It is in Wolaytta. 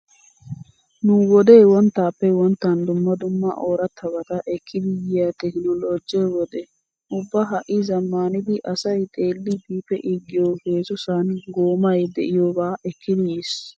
Nu wodee wonttaappe wonttan dumma dumma oorattabata ekkidi yiya tekinoloojje wode. Ubba ha"i zammaanidi asay xeelliiddi pee'iiggiyo heezzusan goomay diyoba ekkidi yiis.